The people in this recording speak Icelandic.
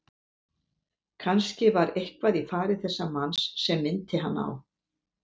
Kannske var eitthvað í fari þessa manns sem minnti hann á